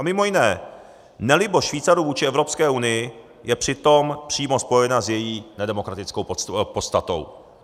A mimo jiné nelibost Švýcarů vůči Evropské unii je přitom přímo spojena s její nedemokratickou podstatou.